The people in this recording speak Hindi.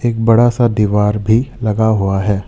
एक बड़ा सा दीवार भी लगा हुआ है।